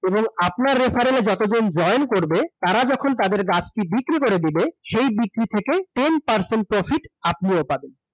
এবং আপনার reference এ যতজন join করবে, তারা যখন তাদের গাছটি বিক্রি করে দিবে, সেই বিক্রি থেকে, ten percent profit, আপনিও পাবেন।